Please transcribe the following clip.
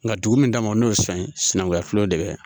Nka dugu min kama n'o ye san ye sinankunya filɛ de